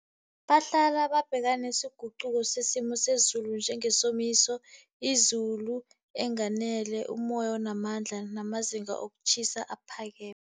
Bahlala babhekana nesiguquko sesimo sezulu njengesomiso, izulu enganele, umoya onamandla, amazinga wokutjhisa aphakeme.